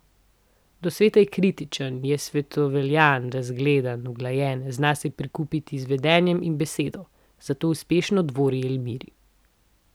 Do sveta je kritičen, je svetovljan, razgledan, uglajen, zna se prikupiti z vedenjem in besedo, zato uspešno dvori Elmiri.